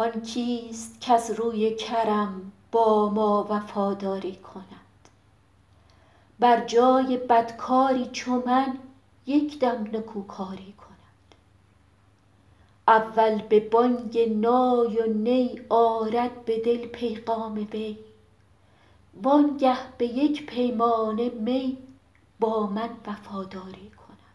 آن کیست کز روی کرم با ما وفاداری کند بر جای بدکاری چو من یک دم نکوکاری کند اول به بانگ نای و نی آرد به دل پیغام وی وانگه به یک پیمانه می با من وفاداری کند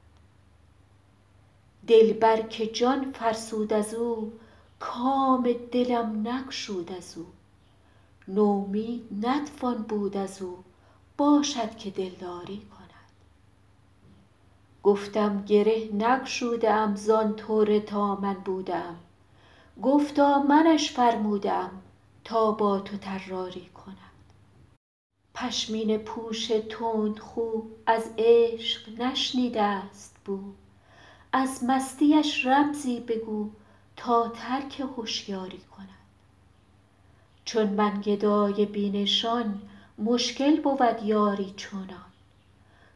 دلبر که جان فرسود از او کام دلم نگشود از او نومید نتوان بود از او باشد که دلداری کند گفتم گره نگشوده ام زان طره تا من بوده ام گفتا منش فرموده ام تا با تو طراری کند پشمینه پوش تندخو از عشق نشنیده است بو از مستیش رمزی بگو تا ترک هشیاری کند چون من گدای بی نشان مشکل بود یاری چنان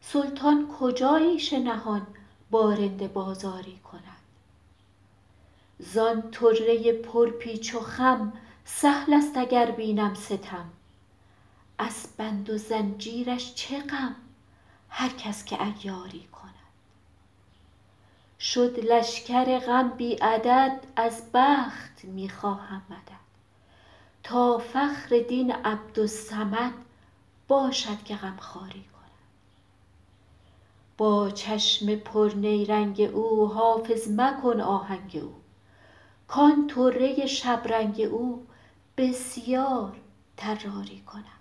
سلطان کجا عیش نهان با رند بازاری کند زان طره پرپیچ و خم سهل است اگر بینم ستم از بند و زنجیرش چه غم هر کس که عیاری کند شد لشکر غم بی عدد از بخت می خواهم مدد تا فخر دین عبدالصمد باشد که غمخواری کند با چشم پرنیرنگ او حافظ مکن آهنگ او کان طره شبرنگ او بسیار طراری کند